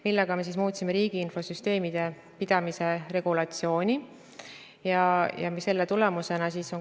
Ma lisan laste sündimuse kohta seda, et ka tänavuse, 2019. aasta esimesed kvartalid on näidanud pigem selle trendi püsimist, kolmanda ja enama lapse toetusest tulenevat sündide arvu kasvu.